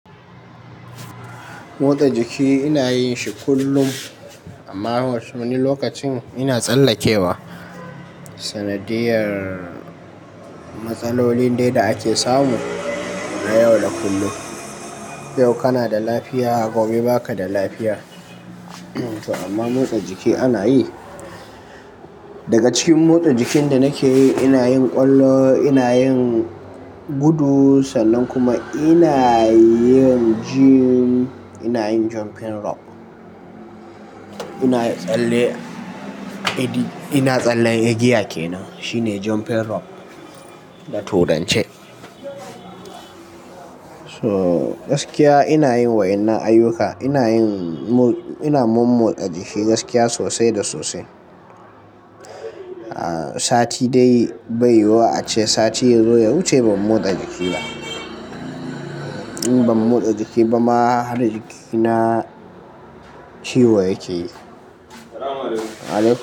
Motsa jiki ina yin shi kullum amma wasu wani lokacin ina tsallakewa. Sanadiyar matsalolin dai da ake samu na yau da kullum. Yau kana da lafiya gobe ba ka da lafiya. Amma motsa jiki ana yi. Daga cikin motsa jikin da nake yi, ina yin ƙwallo, ina yin gudu sannan kuma ina yin gym. Ina yin jumping rope. Ina tsalle, ina tsalle igigiya kenan shine jumping rope. Da turance. So gaskiya ina yin wa'innan ayyuka. Ina yin, ina mo motsa jiki gaskiya sosai da sosai. Sati dai bai wa ace sati yazo ya wuce ban motsa jiki ba. Ban motsa jiki ba ma har jikina ciwo yake yi.